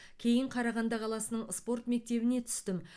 кейін қарағанды қаласының спорт мектебіне түстім